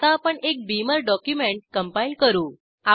आता आपण एक बीमर डॉक्युमेंट कंपाईल करू